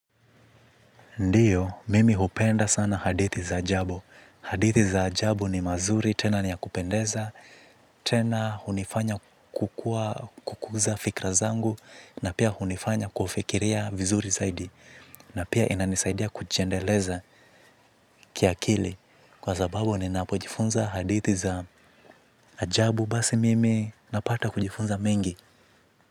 Ndiyo, mimi hupenda sana hadithi za ajabu. Hadithi za ajabu ni mazuri tena ni yakupendeza, tena hunifanya kukuza fikra zangu na pia hunifanya kufikiria vizuri zaidi. Na pia inanisaidia kujiendeleza kiakili kwa sababu ninapojifunza hadithi za ajabu basi mimi napata kujifunza mengi.